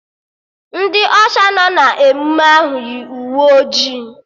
Ndị Ọsha nọ n'emụme ahụ yi uwe ojii